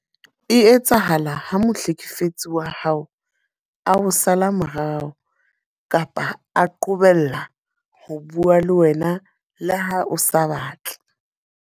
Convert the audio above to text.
E etsahala ha mohlekefetsi wa hao a o sala morao kapa a qobella ho bua le wena le ha o sa batle.